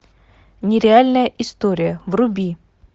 нереальная история вруби